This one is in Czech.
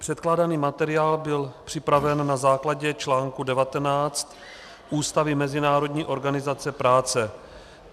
Předkládaný materiál byl připraven na základě článku 19 Ústavy Mezinárodní organizace práce.